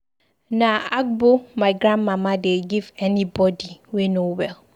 Na agbo my grandmama dey give anybodi we no well.